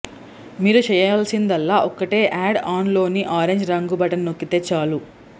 మీరు చేయాల్సిందల్లా ఒక్కటే యాడ్ ఆన్ లోని ఆరెంజ్ రంగు బటన్ నొక్కితే చాలు